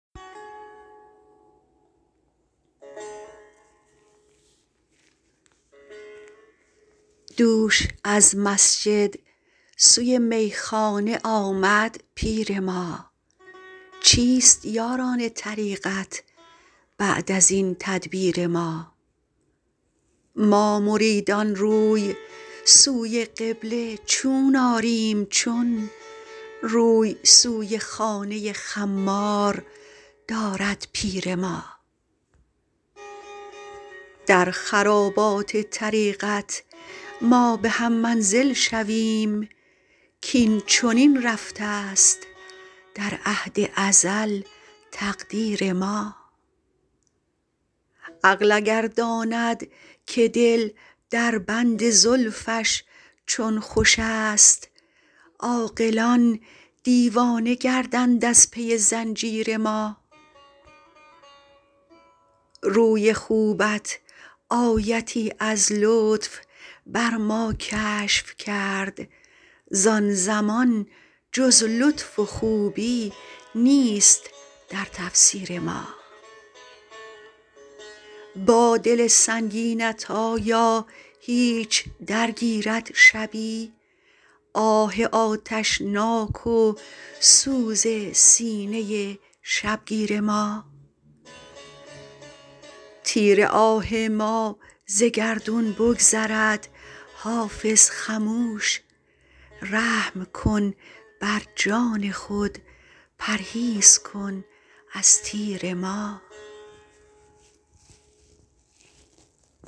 دوش از مسجد سوی میخانه آمد پیر ما چیست یاران طریقت بعد از این تدبیر ما ما مریدان روی سوی قبله چون آریم چون روی سوی خانه خمار دارد پیر ما در خرابات طریقت ما به هم منزل شویم کاین چنین رفته است در عهد ازل تقدیر ما عقل اگر داند که دل در بند زلفش چون خوش است عاقلان دیوانه گردند از پی زنجیر ما روی خوبت آیتی از لطف بر ما کشف کرد زان زمان جز لطف و خوبی نیست در تفسیر ما با دل سنگینت آیا هیچ درگیرد شبی آه آتشناک و سوز سینه شبگیر ما تیر آه ما ز گردون بگذرد حافظ خموش رحم کن بر جان خود پرهیز کن از تیر ما